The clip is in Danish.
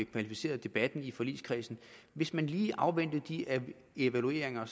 kvalificere debatten i forligskredsen hvis man lige afventer de evalueringer